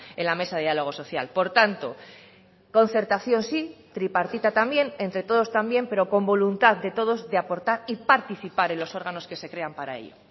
en la mesa de diálogo social por tanto concertación sí tripartita también entre todos también pero con voluntad de todos de aportar y participar en los órganos que se crean para ello